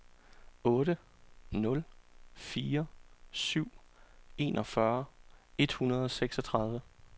otte nul fire syv enogfyrre et hundrede og seksogtredive